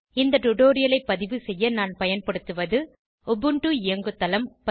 இந்த டுடோரியலை பதிவு செய்ய நான் பயன்படுத்துவது உபுண்டு இயங்குதளம் பதிப்பு